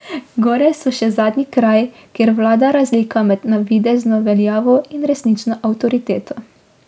Gore so še zadnji kraj, kjer vlada razlika med navidezno veljavo in resnično avtoriteto.